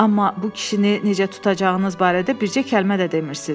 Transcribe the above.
Amma bu kişini necə tutacağınız barədə bircə kəlmə də demirsiz.